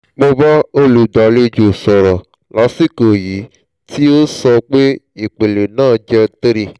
mo bá olùgbàlejò sọ̀rọ̀ lásìkò yìí tí ó sọ pé ìpele náà jẹ́ 3